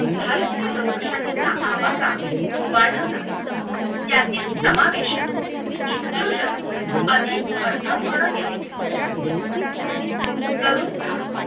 भारतीय लोकशाहीचा आवाका वाढवला आहे त्यातील समावेशित inclusion अधिक अर्थपूर्वेक केले तरुण